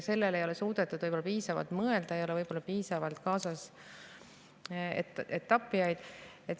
Sellele ei ole suudetud võib-olla piisavalt mõelda, ei ole võib-olla piisavalt kaasas etapeerijaid.